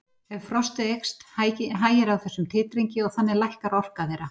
Ef frostið eykst hægir á þessum titringi og þannig lækkar orka þeirra.